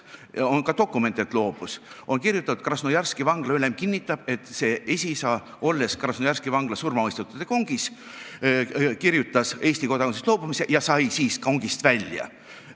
Ja on ka dokument, et loobus: on kirjutatud, et Krasnojarski vangla ülem kinnitab, et see esiisa, olles Krasnojarski vangla surmamõistetute kongis, kirjutas Eesti kodakondsusest loobumisele alla ja sai siis kongist välja.